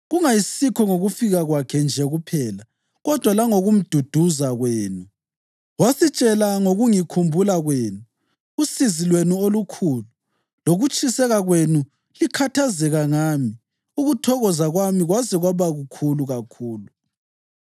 kungayisikho ngokufika kwakhe nje kuphela kodwa langokumduduza kwenu. Wasitshela ngokungikhumbula kwenu, usizi lwenu olukhulu, lokutshiseka kwenu likhathazeka ngami, ukuthokoza kwami kwaze kwaba kukhulu kakhulu.